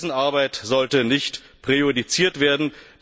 Dessen Arbeit sollte nicht präjudiziert werden.